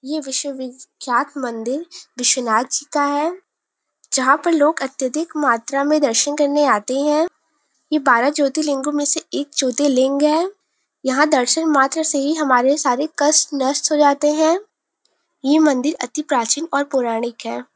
ये विश्व विख्यात मंदिर विश्वनाथ जी का है जहाँ पर लोग अत्यधिक मात्रा में दर्शन करने आते है। ये बारह ज्योतिलिंगों में से एक ज्योतिलिंग है। यहाँ दर्शन मात्र से ही हमारे सारे कष्ट नष्ट हो जाते है। ये मंदिर अति प्रचीन और पौराणिक है।